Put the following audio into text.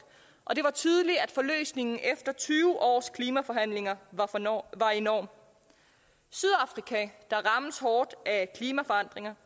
og det var tydeligt at forløsningen efter tyve års klimaforhandlinger var enorm sydafrika der rammes hårdt af klimaforandringer